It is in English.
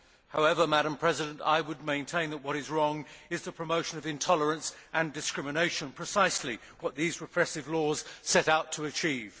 However, I would maintain that what is wrong is the promotion of intolerance and discrimination precisely what these repressive laws set out to achieve.